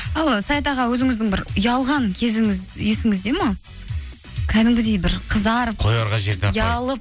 ал ы саят аға өзіңіздің бір ұялған кезіңіз есіңізде ме кәдімгідей бір қызарып қоярға жер ұялып